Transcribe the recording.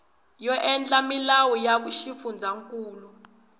yo endla milawu ya xifundzankulu